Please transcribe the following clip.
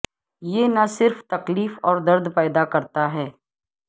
یہ نہ صرف تکلیف اور درد پیدا کرتا ہے